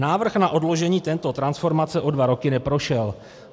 "Návrh na odložení této transformace o dva roky neprošel."